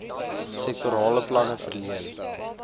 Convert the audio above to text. sektorale planne verleen